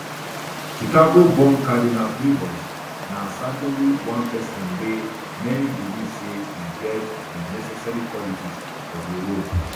chicagoborn cardinal prevost na certainly one pesin wey many believe say e get di necessary qualities for di role